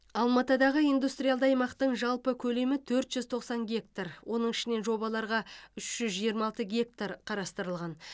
алматыдағы индустриалды аймақтың жалпы көлемі төрт жүз тоқсан гектар оның ішінен жобаларға үш жүз жиырма алты гектар қарастырылған